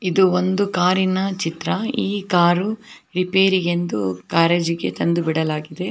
ಇದು ಒಂದು ಕಾರಿನ ಚಿತ್ರ ಈ ಕಾರು ರಿಪೇರಿಗೆಂದು ಗ್ಯಾರೇಜಿಗೆ ತಂದು ಬಿಡಲಾಗಿದೆ.